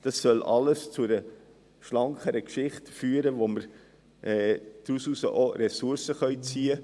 All dies soll zu einer schlankeren Sache führen, aus der wir Ressourcen gewinnen.